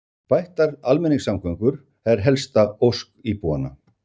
Bættar almenningssamgöngur helsta ósk íbúanna